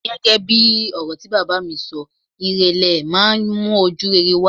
Gẹ́gẹ́ bí ọ̀rọ̀ tí bàbá mi bá mi sọ, ìrèlè máa ń mú ojúrere wá.